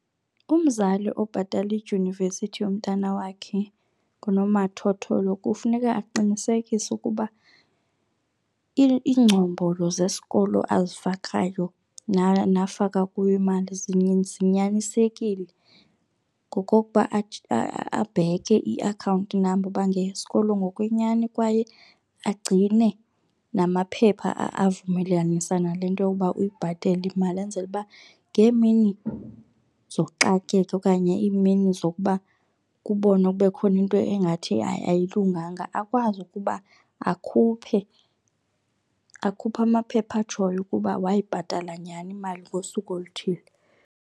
Umzali obhatala idyunivesithi yomntana wakhe ngonomathotholo kufuneka aqinisekise ukuba iingcombolo zesikolo azifakayo nafaka kuyo imali zinyanisekile ngokokuba abheke iakhawunti namba uba ngeyesikolo ngokwenyani kwaye agcine namaphepha avumelanisa nale nto yokuba uyibhatele imali enzele uba ngemini zoxakeka okanye imini zokuba kubonwe kube khona into engathi ayilunganga akwazi ukuba akhuphe, akhuphe amaphepha atshoyo ukuba wayibhatala nyhani imali ngosuku oluthile.